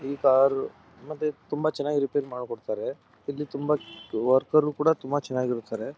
ಈ ಕಾರು ಮತ್ತೆ ತುಂಬಾ ಚೆನ್ನಾಗಿ ರಿಪೇರ್ ಮಾಡ್ಕೊಡ್ತಾರೆ ಇಲ್ಲಿ ತುಂಬಾ ವರ್ಕರ್ ಕೂಡ ತುಂಬಾ ಚೆನ್ನಾಗಿ ಇರುತ್ತಾರೆ.